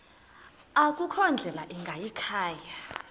akukho ndlela ingayikhaya